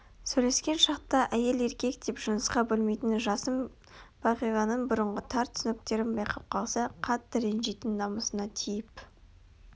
сөйлескен шақта әйел-еркек деп жынысқа бөлмейтін жасын бағиланың бұрынғы тар түсініктерін байқап қалса қатты ренжитін намысына тиіп